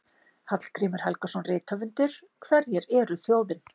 Hallgrímur Helgason, rithöfundur: Hverjir eru þjóðin?